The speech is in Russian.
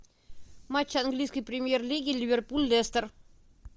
матч английской премьер лиги ливерпуль лестер